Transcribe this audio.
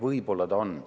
Võib-olla on.